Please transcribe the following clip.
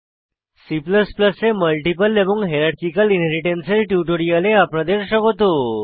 C এ multiple এবং hierarchical inheritance এর টিউটোরিয়ালে আপনাদের স্বাগত